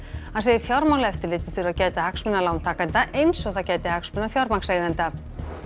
hann segir Fjármálaeftirlitið þurfa að gæta hagsmuna lántakenda eins og það gæti hagsmuna fjármagnseigenda